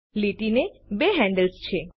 લીટીને બે હેન્ડલ્સ છે